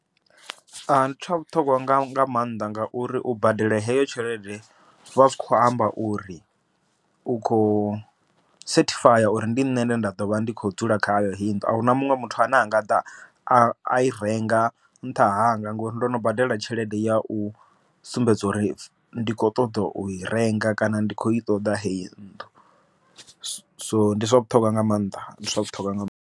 Ndi tsha vhuṱhogwa nga maanḓa ngauri u badela heyo tshelede, zwa zwi kho amba uri u khou sethifaya uri ndi nṋe ndi nda ḓovha ndi kho dzula khayo heyo nnḓu, ahuna muṅwe muthu ane anga ḓa a i renga nṱha hanga, ngori ndo no badela tshelede ya u sumbedza uri ndi kho ṱoḓa u i renga kana ndi kho i ṱoḓa heyi nnḓu. So ndi zwa vhuṱhogwa nga maanḓa ndi zwa vhuṱhogwa nga maanḓa.